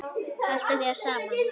Haltu þér saman